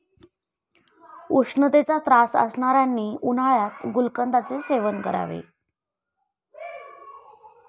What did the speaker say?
उष्णतेचा त्रास असणाऱ्यांनी उन्हाळ्यात गुलकंदाचे सेवन करावे.